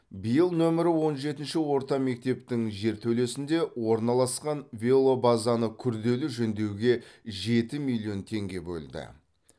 биыл нөмірі он жетінші орта мектептің жертөлесінде орналасқан велобазаны күрделі жөндеуге жеті миллион теңге бөлді